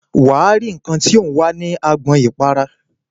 Wà á rí nnkan tí ò ń wá ní agbọn ìpara.